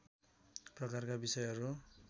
प्रकारका विषयहरू